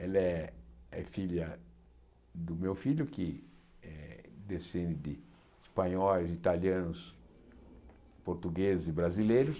Ela é é filha do meu filho, que descende de espanhóis, italianos, portugueses e brasileiros.